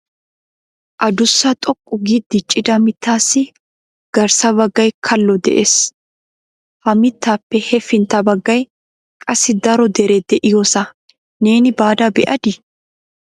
Addussa xoqqu gi diccida mittassi garssa baggay kallo de'ees. Ha mittappe hefintta baggay qassi daro dere de'iyoosa neeni baada be'adi?